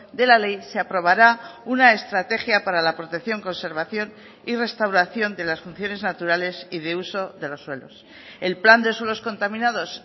de la ley se aprobará una estrategia para la protección conservación y restauración de las funciones naturales y de uso de los suelos el plan de suelos contaminados